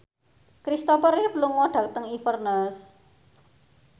Christopher Reeve lunga dhateng Inverness